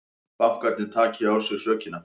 Bankarnir taki á sig sökina